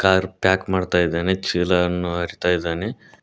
Car pack ಮಾಡ್ತಾ ಇದ್ದಾನೆ ಚೀಲ ಅನ್ನು ಹಾರ್ತಾ ಇದಾನೆ.